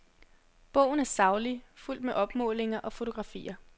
Bogen er saglig, fuldt med opmålinger og fotografier.